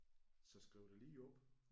Så skriv dig lige op